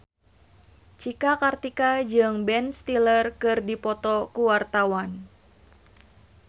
Cika Kartika jeung Ben Stiller keur dipoto ku wartawan